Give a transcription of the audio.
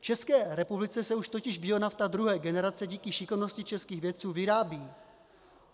V České republice se už totiž bionafta druhé generace díky šikovnosti českých vědců vyrábí.